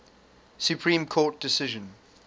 supreme court decision